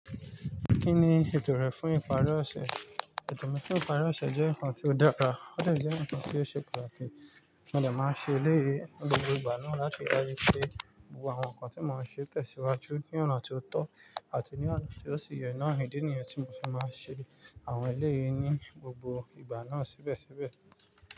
Kí ni ètò rẹ fún ìpàri ọ̀sẹ̀? Ètò mi fún ìpàri ọ̀sẹ̀ jẹ́ ǹnkan tí ó dára, ó tẹ̀ jẹ́ ǹnkan tí ó ṣe pàtàkì. Mo dè máa ṣe eléyii ní gbogbo ìgbà náà láti ráyè pé gbogbo àwọn ǹnkan tí mo ń ṣe tẹ̀síwájú ní ọ̀nà tí ó tọ́ àti ní ọ̀nà tí ó sì yẹ náà ìdí nìyẹn tí mo fì máa ń ṣe àwọn eléèyé ní gbogbo ìgbà náà síbẹ̀síbẹ̀